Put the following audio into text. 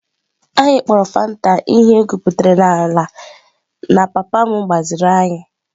Anyị kpọrọ Fanta ihe egwuputara n'ala na papa m gbaziri anyị.